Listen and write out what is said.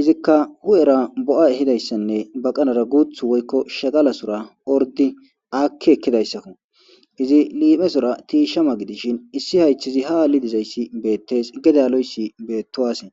izika hu'era bo'a ehiza baqanara woyko shagalasora ordi aki ekizaysako izi liphesora tishama gidishin issi haythezi ha ali dizaysi betes gede aloydi betuwase